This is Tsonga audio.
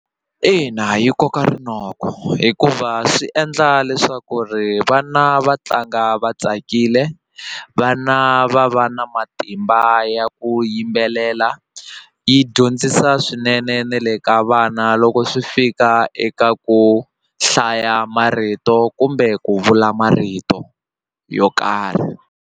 Ina yi koka rinoko hikuva swi endla leswaku ri vana va tlanga va tsakile vana va va na matimba ya ku yimbelela yi dyondzisa swinene na le ka vana loko swi fika eka ku hlaya marito kumbe ku vula marito yo karhi.